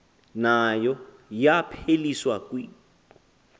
nayo yapheliswa kw